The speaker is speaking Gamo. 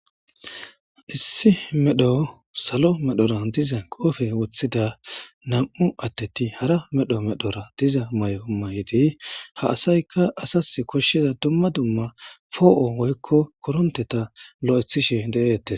Issi medho salo medhora diza qoofe woththida nam7u atteti hara medho medhora diza may7o may7idi ha asayka asas koshshiza dumma dumma poo7o woykko koronteta lo7ethishe de7eettes.